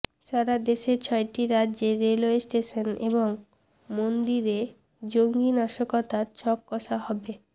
সারা দেশে ছয়টি রাজ্যে রেলওয়ে স্টেশন এবং মন্দিরে জঙ্গি নাশকতার ছক কষা হবে